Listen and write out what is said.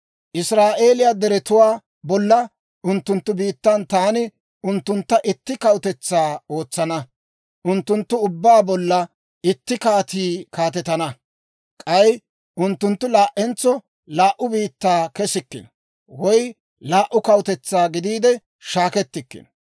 Israa'eeliyaa deretuwaa bolla, unttunttu biittan taani unttuntta itti kawutetsaa ootsana; unttunttu ubbaa bolla itti kaatii kaatetana. K'ay unttunttu laa"entso laa"u biittaa kesikkino; woy laa"u kawutetsaa gidiide shaakkettikkino.